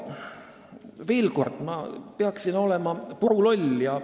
Veel kord: ma peaksin olema puruloll ja ...